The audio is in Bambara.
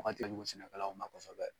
Kɔnkɔn kɛ jugu sɛnɛkalaw ma kosɛbɛ.